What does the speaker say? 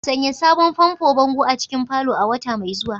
Sanya sabon fanfo bango a cikin parlour a wata mai zuwa